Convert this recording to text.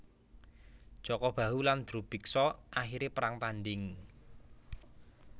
Jaka Bahu lan Drubiksa akhire perang tanding